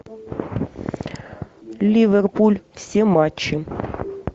ливерпуль все матчи